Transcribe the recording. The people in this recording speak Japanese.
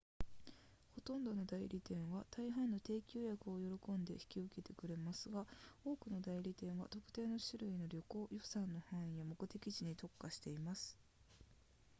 ほとんどの代理店は大半の定期予約を喜んで引き受けてくれますが多くの代理店は特定の種類の旅行予算の範囲や目的地に特化しています